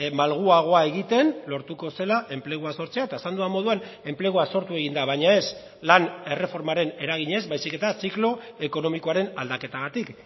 malguagoa egiten lortuko zela enplegua sortzea eta esan dudan moduan enplegua sortu egin da baina ez lan erreformaren eraginez baizik eta ziklo ekonomikoaren aldaketagatik